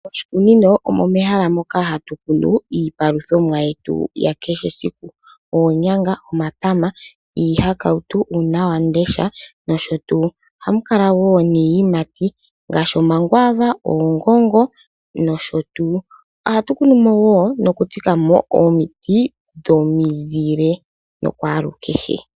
Oshikunino omo mehala moka hatu kunu iipaluthomwa yetu ya kehe esiku. Ngaashi oonyanga, omatama, uunawandesha nosho tuu. Ohamu kala woo niiyimati ngaashi omakwaava, oongongo nosho tuu. Ohatu kunu woo noku tsikamo omiti dhomizile dha kwalu kehe.